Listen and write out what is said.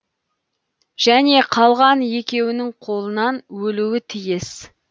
және қалған екеуінің қолынан өлуі тиіс